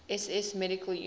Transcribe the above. ss medical units